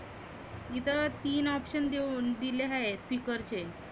इथं तीन option देऊन दिले आहे speaker चे.